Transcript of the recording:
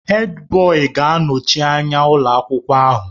Hèdbọyi ga-anọchi anya ụlọ akwụkwọ ahụ.